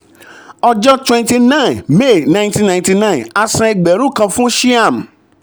ọjọ́ twenty nine may nineteen ninety nine a san ẹgbẹ̀rún kan fún shyam.